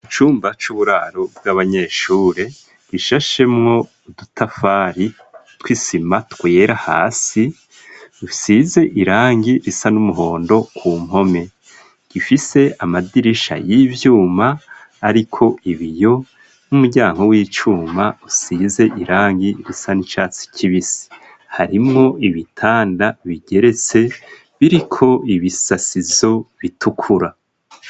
Icumba c'uburaro bw'abanyeshuri gishashemwo udutafari tw'isima twera hasi, dusize irangi risa n'umuhondo ku mpome, gifise amadirisha y'ivyuma ariko ibiyo n'umuryango w'icuma usize irangi risa n'icatsi kibisi harimwo ibitanda bigeretse biriko ibisasizo bitukura.